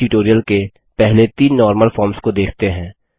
अपने ट्यूटोरियल के पहले तीन नॉर्मल फॉर्म्स को देखते हैं